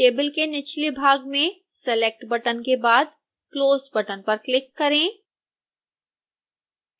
table के निचले भाग में select बटन के बाद close बटन पर क्लिक करें